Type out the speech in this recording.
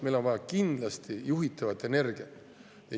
Meil on vaja kindlasti juhitavat energiat.